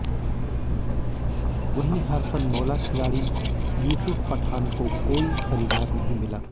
वहीं हरफनमौला खिलाड़ी युसूफ पठान को कोई खरीददार नहीं मिला